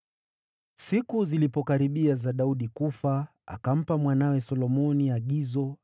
Siku zilipokaribia za Daudi kufa, akampa mwanawe Solomoni agizo.